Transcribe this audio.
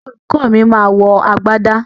Olùkó mi ma wọ agbádá